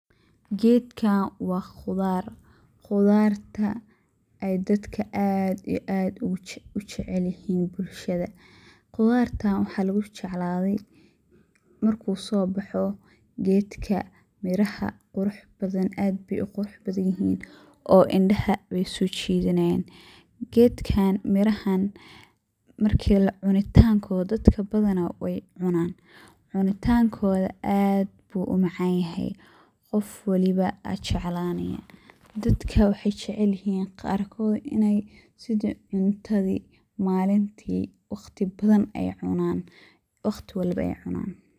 Gedkan wa qudaar, qudartas oo dadka aad iyo aad ujecelyihin bulshada. Qudartan waxa lugujecladey marku soboxo miraha aad bey uqurux badan yihin oo indaha wey sojidanayan, gedkan mirahisa marki cunitankoda dadka badana wey cunaan oo aad bu umacanyahay qof walba jeclanaya. Dadka wexey jecelyihin qarkoda inii sida cuntadi malinki waqti walbo ey cunaan.